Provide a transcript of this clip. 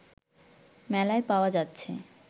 মেলায় পাওয়া যাচ্ছে